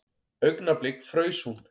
Augnablik fraus hún.